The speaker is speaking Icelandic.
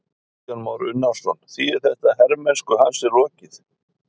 Kristján Már Unnarsson: Þýðir þetta að hermennsku hans er lokið?